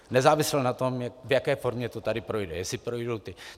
Nezávisle na tom, v jaké formě to tady projde, jestli projdou ty...